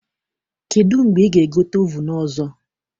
Kedụ mgbe ị ga-egote ovunu ọzọ?